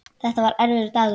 Þetta var erfiður dagur.